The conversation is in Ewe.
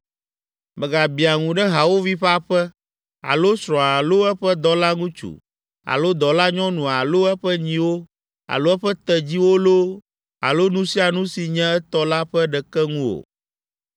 Mègabiã ŋu ɖe hawòvi ƒe aƒe, alo srɔ̃a alo eƒe dɔlaŋutsu alo dɔlanyɔnu alo eƒe nyiwo alo eƒe tedziwo loo alo nu sia nu si nye etɔ la ƒe ɖeke ŋu o.”